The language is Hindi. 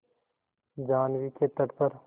जाह्नवी के तट पर